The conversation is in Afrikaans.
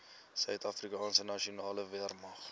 suidafrikaanse nasionale weermag